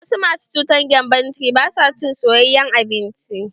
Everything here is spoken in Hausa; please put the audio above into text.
Wasu masu cutar gembon ciki ba sua cin soyayen abinci.